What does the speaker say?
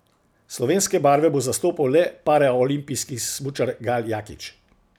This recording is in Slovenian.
Slovenske barve bo zastopal le paraolimpijski smučar Gal Jakič.